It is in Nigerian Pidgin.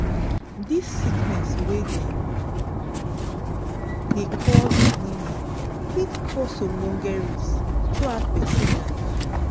this sickness wey dem dey call anemia fit cause ogboge risk throughout persin life